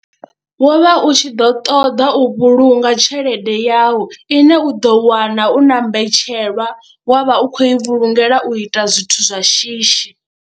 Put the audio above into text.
Wo vha u tshi ḓo ṱoḓa u vhulunga tshelede yawu ine u ḓo wana u na mbetshelwa wa vha u khou i vhulungela u ita zwithu zwa shishi.